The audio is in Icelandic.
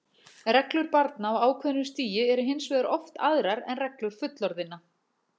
Reglur barna á ákveðnu stigi eru hins vegar oft aðrar en reglur fullorðinna.